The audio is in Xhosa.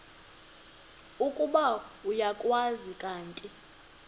ukuba uyakwazi kanti